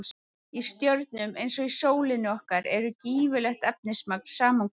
Í stjörnum eins og sólinni okkar er gífurlegt efnismagn saman komið.